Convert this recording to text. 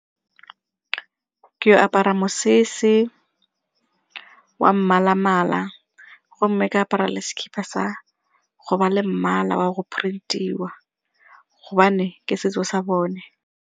Ke apara mosese wa mmalamala gomme ke apara le sekipa sa go ba le mmala wa go print-iwa gobane ke setso sa bone.